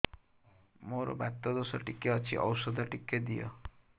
ମୋର୍ ବାତ ଦୋଷ ଟିକେ ଅଛି ଔଷଧ ଟିକେ ଦିଅ